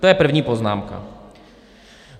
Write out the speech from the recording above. To je první poznámka.